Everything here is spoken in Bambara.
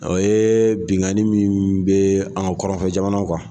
O ye benkanni min be an kɔrɔnfɛ jamanaw kan.